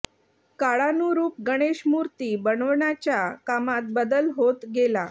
काळानुरूप गणेश मूर्ती बनवण्याच्या कामात बदल होत गेला